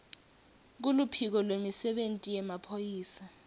kuluphiko lwemisebenti yemaphoyisa